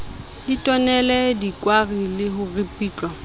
ditonele dikwari le ho ripitlwa